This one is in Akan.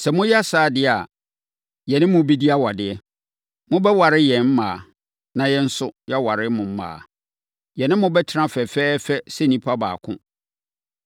Sɛ moyɛ saa deɛ a, yɛne mo bɛdi awadeɛ. Mobɛware yɛn mmaa, na yɛn nso, yɛaware mo mmaa. Yɛne mo bɛtena fɛfɛɛfɛ sɛ nnipa baako.